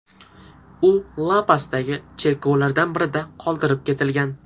U La-Pasdagi cherkovlardan birida qoldirib ketilgan.